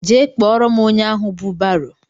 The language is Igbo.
Jee kpọrọ m ónyé ahụ bụ barô!!